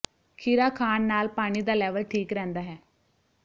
ਖੀਰਾ ਖਾਣ ਨਾਲ ਪਾਣੀ ਦਾ ਲੈਵਲ ਠੀਕ ਰਹਿੰਦਾ ਹੈ